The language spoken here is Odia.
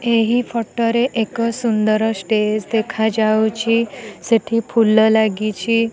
ଏହି ଫଟୋ ରେ ଏକ ସୁନ୍ଦର ଷ୍ଟେଜ୍ ଦେଖାଯାଉଛି ସେଠି ଫୁଲ ଲାଗିଚି ।